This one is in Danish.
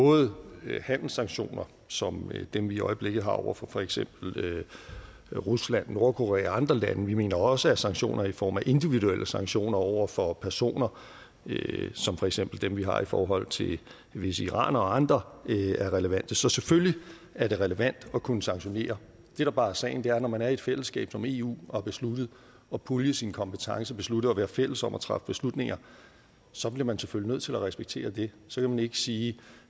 både handelssanktioner som dem vi i øjeblikket har over for for eksempel rusland nordkorea og andre lande og vi mener også at sanktioner i form af individuelle sanktioner over for personer som for eksempel dem vi har i forhold til visse iranere og andre er relevante så selvfølgelig er det relevant at kunne sanktionere det der bare er sagen er at når man er i et fællesskab som eu og har besluttet at pulje sine kompetencer og besluttet at være fælles om at træffe beslutninger så bliver man selvfølgelig nødt til at respektere det så kan man ikke sige